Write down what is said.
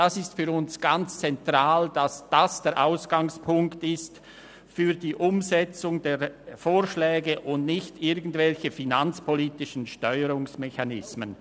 Es ist für uns ganz zentral, dass dies der Ausgangspunkt für die Umsetzung der Vorschläge ist und nicht irgendwelche finanzpolitischen Steuerungsmechanismen;